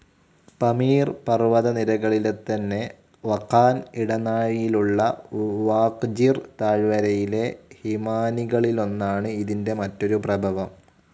പമീർ പർവ്വതനിരകളിലെത്തന്നെ വഖാൻ ഇടനാഴിയിലുള്ള വാഖ്‌ജിർ താഴ്‌വരയിലെ ഹിമാനികളിലൊന്നാണ് ഇതിൻ്റെ മറ്റൊരു പ്രഭവം.